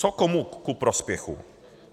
Co komu ku prospěchu?